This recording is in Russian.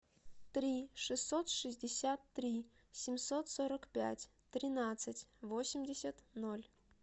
три шестьсот шестьдесят три семьсот сорок пять тринадцать восемьдесят ноль